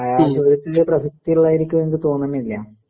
എഅ ചോദിച്ചത് പ്രസക്തി ഉള്ള മാതിരി എനിക്ക് തോന്നുന്നില്ല.